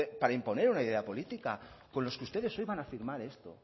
para imponer una idea política con los que ustedes hoy van a firmar esto